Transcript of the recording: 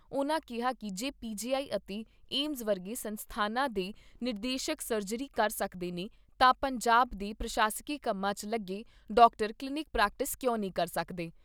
ਉਨ੍ਹਾਂ ਕਿਹਾ ਕਿ ਜੇ ਪੀ ਜੀ ਆਈ ਅਤੇ ਏਮਜ਼ ਵਰਗੇ ਸੰਸਥਾਨਾਂ ਦੇ ਨਿਦੇਸ਼ਕ ਸਰਜਰੀ ਕਰ ਸਕਦੇ ਨੇ ਤਾਂ ਪੰਜਾਬ ਦੇ ਪ੍ਰਸਾਸ਼ਕੀ ਕੰਮਾਂ 'ਚ ਲੱਗੇ ਡਾਕਟਰ ਕਲੀਨੀਕ ਪ੍ਰੈਕਟਿਸ ਕਿਉਂ ਨੀ ਕਰ ਸਕਦੇ।